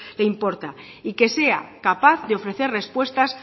le importa y que sea capaz de ofrecer respuestas